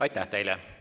Aitäh teile!